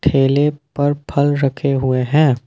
ठेले पर फल रखे हुए हैं।